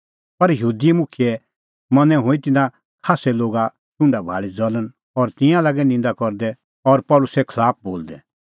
पर यहूदी मुखियै मनैं हुई तिन्नां खास्सै लोगे छ़ुंडा भाल़ी ज़ल़ण और तिंयां लागै निंदा करदै और पल़सीए खलाफ बोलदै